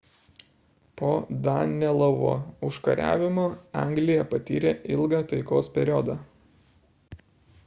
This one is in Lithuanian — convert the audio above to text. po danelovo užkariavimo anglija patyrė ilgą taikos periodą